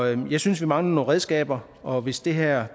jeg synes vi mangler nogle redskaber og hvis det her